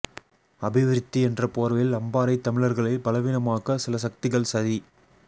அபிவிருத்தி என்ற போர்வையில் அம்பாரைத் தமிழர்களை பலவீனமாக்க சில சக்திகள் சதி